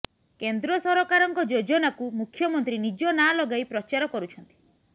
କେନ୍ଦ୍ର ସରକାରଙ୍କ ଯୋଜନାକୁ ମୁଖ୍ୟମନ୍ତ୍ରୀ ନିଜ ନାଁ ଲଗାଇ ପ୍ରଚାର କରୁଛନ୍ତି